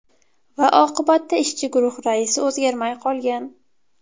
Va oqibatda ishchi guruh raisi o‘zgarmay qolgan.